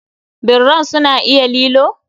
Birran su na iya lilo?